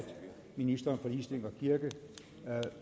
ministeren for ligestilling og kirke